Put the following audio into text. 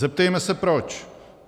Zeptejme se proč.